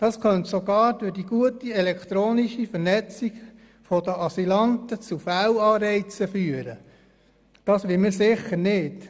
Das könnte sogar aufgrund der guten elektronischen Vernetzung der Asylanten zu Fehlanreizen führen, und das wollen wir sicher nicht.